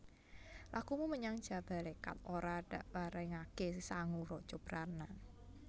Lakumu menyang Jabalékat ora dakparengaké sangu raja brana